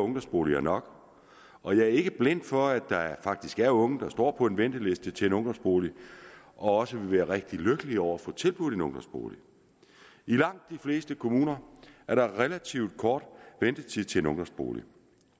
ungdomsboliger nok og jeg er ikke blind for at der faktisk er unge der står på venteliste til en ungdomsbolig og også ville blive rigtig lykkelige over at få tilbudt en ungdomsbolig i langt de fleste kommuner er der relativt kort ventetid til en ungdomsbolig